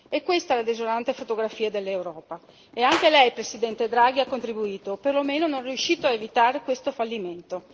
È questa la desolante fotografia dell'Europa e anche Lei Presidente Draghi ha contributo o perlomeno non è riuscito ad evitare questo fallimento.